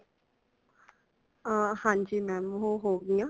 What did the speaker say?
ਅਹ ਹਾਂਜੀ ma'am ਉਹ ਹੋਗੀਆਂ।